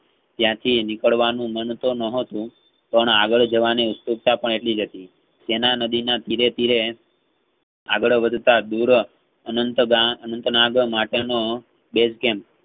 ત્યાંથી નીકળવાનું મન તો ન હતું પણ આગળ જવાને ઉત્સુકતા પણ એટલીજ હતી. તેના નદીના ફિરે~ફિરે આગળવધતા દુરો અંત~અન્તમાર્ગો માટેનો basecamp